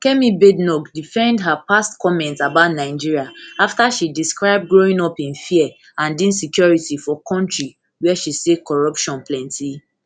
kemi badenoch defend her past comments about nigeria afta she describe growing up in fear and insecurity for kontri wia she say corruption plenti